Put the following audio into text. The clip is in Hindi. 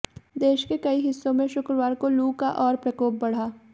देश के कई हिस्सों में शुक्रवार को लू का और प्रकोप बढ़ा